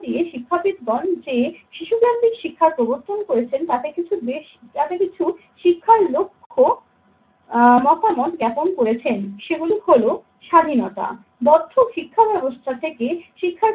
দিয়ে শিক্ষাবিদগণ যে শিশুদের শিক্ষার প্রবর্তন করেছেন তাতে কিছু বেশ কিছু শিক্ষার লক্ষ্য আহ মতামত জ্ঞাপন করেছেন। সেগুলি হলো স্বাধীনতা। মধ্য শিক্ষা ব্যবস্থা থেকে